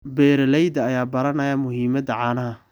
Beeralayda ayaa baranaya muhiimada caanaha.